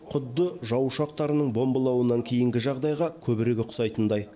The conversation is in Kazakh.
құдды жау ұшақтарының бомбалауынан кейінгі жағдайға көбірек ұқсайтындай